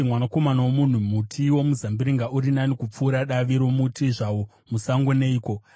“Mwanakomana womunhu, muti womuzambiringa uri nani kupfuura davi romuti zvawo musango neiko?